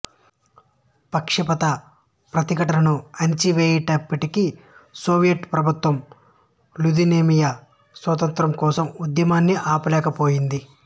పక్షపాత ప్రతిఘటనను అణిచివేసినప్పటికీ సోవియట్ ప్రభుత్వం లిథువేనియా స్వాతంత్ర్యం కోసం ఉద్యమాన్ని ఆపలేకపోయింది